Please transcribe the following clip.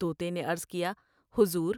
توتے نے عرض کیا " حضور!